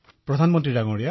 অখিলঃ প্ৰধানমন্ত্ৰী মহোদয়